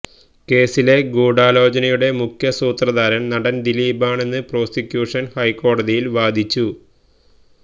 കേസിലെ ഗൂഢാലോചനയുടെ മുഖ്യസൂത്രധാരന് നടന് ദിലീപാണെന്ന് പ്രോസിക്യൂഷന് ഹൈക്കോടതിയില് വാദിച്ചു